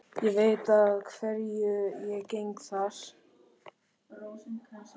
Ég veit að hverju ég geng þar.